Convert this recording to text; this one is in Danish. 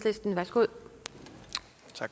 godt